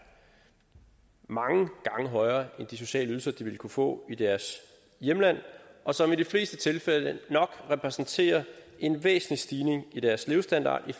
mange gange højere end de sociale ydelser de ville kunne få i deres hjemland og som i de fleste tilfælde nok repræsenterer en væsentlig stigning i deres levestandard i